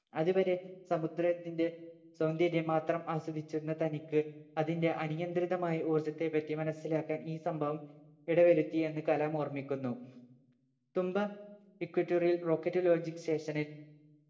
അതുവരെ സമുദ്രത്തിന്റെ സൗന്ദര്യം മാത്രം ആസ്വദിച്ചിരുന്ന തനിക്ക് അതിന്റെ അനിയന്ത്രിതമായ ഊർജത്തെ പറ്റി മനസിലാക്കാൻ ഈ സംഭവം ഇടവരുത്തി എന്ന് കലാം ഓർമ്മിക്കുന്നു Thumba Equatorial rocket launching station നിൽ